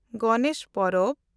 ᱜᱚᱱᱮᱥ ᱯᱚᱨᱚᱵᱽ